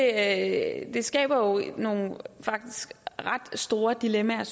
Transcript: at det skaber nogle faktisk ret store dilemmaer